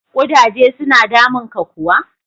Kudaje suna damunka kuwa?